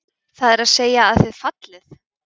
Það er að segja að þið fallið?